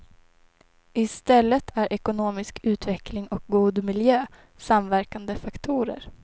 I stället är ekonomisk utveckling och god miljö samverkande faktorer.